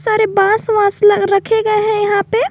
सारे बांस वास रखे गए हैं यहां पे।